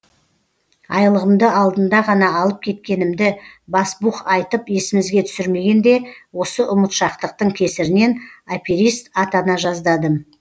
айлығымды алдында ғана алып кеткенімді басбух айтып есімізге түсірмегенде осы ұмытшақтықтың кесірінен аперист атана жаздадым